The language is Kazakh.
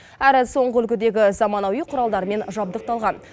әрі соңғы үлгідегі заманауи құралдармен жабдықталған